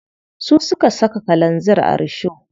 Su suka saka kalanzir a risho.